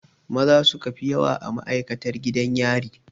Maza suka fi yawa a ma'aikatan gidan yari.